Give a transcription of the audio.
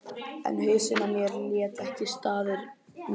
En hausinn á mér lét ekki staðar numið.